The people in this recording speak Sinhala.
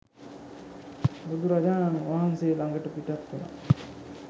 බුදුරජාණන් වහන්සේ ළඟට පිටත් වුනා.